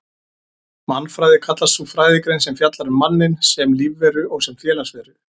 Mannfræði kallast sú fræðigrein sem fjallar um manninn sem lífveru og sem félagsveru.